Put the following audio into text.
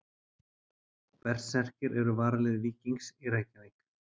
Berserkir eru varalið Víkings í Reykjavík.